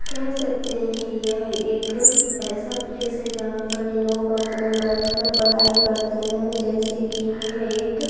कह सकते हैं कि यह एक ऐसा प्लेस है जहां पर लोग अपने बैठकर पढ़ाई करते हैं जैसे कि यह एक--